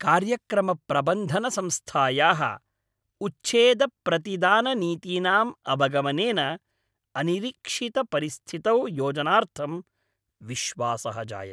कार्यक्रमप्रबन्धनसंस्थायाः उच्छेदप्रतिदाननीतीनाम् अवगमनेन अनिरीक्षितपरिस्थितौ योजनार्थं विश्वासः जायते।